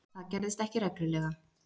Það gerðist ekki reglulega.